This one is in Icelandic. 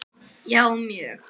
Já, mjög